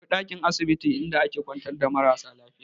Akwai dankin asibiti inda ake ƙwantar da mara lafiya.